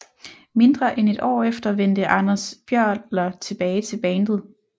Mindre end et år efter vendte Anders Björler tilbage til bandet